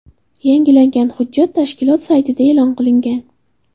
Yangilangan hujjat tashkilot saytida e’lon qilingan .